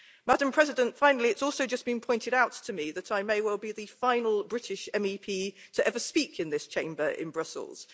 Madam President, finally, it's also just been pointed out to me that I may well be the final British MEP to ever speak in this Chamber in Brussels.